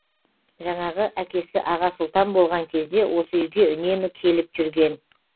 жаңағы әкесі аға сұлтан болған кезде осы үйге үнемі келіп жүрген